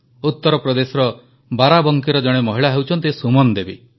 ଉତରପ୍ରଦେଶର ବାରାବଙ୍କିର ଜଣେ ମହିଳା ହେଉଛନ୍ତି ସୁମନ ଦେବୀ